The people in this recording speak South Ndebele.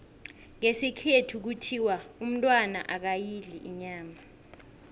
ngesikhethu kuthiwa umntwana akayidli inyama